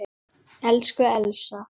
Elsku Elsa.